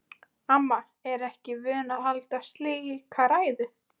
Amma er ekki vön að halda slíka ræðu.